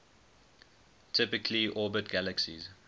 typically orbit galaxies